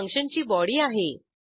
ही फंक्शनची बॉडी आहे